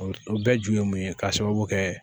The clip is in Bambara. O o bɛɛ ju ye mun ye k'a sababu kɛ